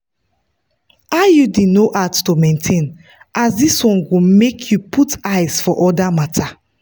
iud no hard to maintain as this one go make you put eyes for other matters.